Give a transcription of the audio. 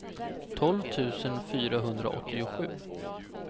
tolv tusen fyrahundraåttiosju